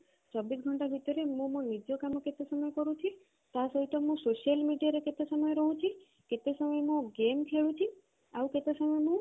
ଚବିଶ ଘଣ୍ଟା ଭିତରେ ମୁଁ ମୋ ନିଜ କାମ କେତେ ସମୟ କରୁଛି ତା ସହିତ ମୁଁ social media ରେ କେତେ ସମୟ ରହୁଛି କେତେ ସମୟ ମୁଁ game ଖେଳୁଛି ଆଉ କେତେ ସମୟ ମୁଁ